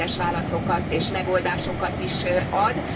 Részletes válaszokat és megoldásokat is ad.